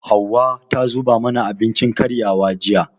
Hauwa ta zuba mana abincin karyawa, jiya.